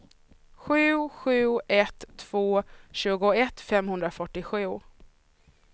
sju sju ett två tjugoett femhundrafyrtiosju